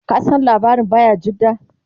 ka San labarin bayajidda?